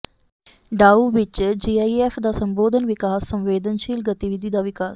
ਡਾਓ ਵਿੱਚ G E F ਦਾ ਸੰਬੋਧਤ ਵਿਕਾਸ ਸੰਵੇਦਨਸ਼ੀਲ ਗਤੀਵਿਧੀ ਦਾ ਵਿਕਾਸ